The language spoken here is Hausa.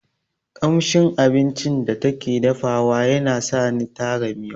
Ƙamshin abincin da take dafa wa yana sani tara miyau